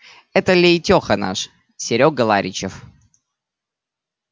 это лейтёха наш серёга ларичев